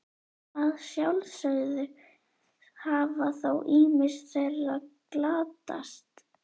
Að sjálfsögðu hafa þó ýmis þeirra glatast.